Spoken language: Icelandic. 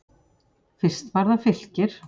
Fyrst var það Fylkir.